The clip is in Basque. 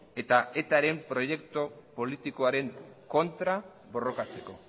eta etaren proiektu politikoaren kontra borrokatzeko